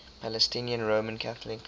palestinian roman catholic